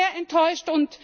Ich bin sehr enttäuscht.